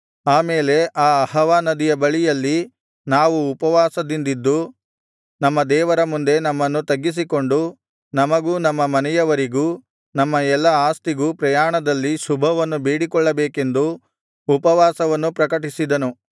ಆ ಮೇಲೆ ಆ ಅಹವಾ ನದಿಯ ಬಳಿಯಲ್ಲಿ ನಾವು ಉಪವಾಸದಿಂದಿದ್ದು ನಮ್ಮ ದೇವರ ಮುಂದೆ ನಮ್ಮನ್ನು ತಗ್ಗಿಸಿಕೊಂಡು ನಮಗೂ ನಮ್ಮ ಮನೆಯವರಿಗೂ ನಮ್ಮ ಎಲ್ಲಾ ಆಸ್ತಿಗೂ ಪ್ರಯಾಣದಲ್ಲಿ ಶುಭವನ್ನು ಬೇಡಿಕೊಳ್ಳಬೇಕೆಂದು ಉಪವಾಸವನ್ನು ಪ್ರಕಟಿಸಿದನು